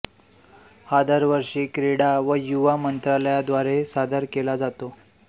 हा दरवर्षी क्रीडा व युवा मंत्रालयाद्वारे सादर केला जातो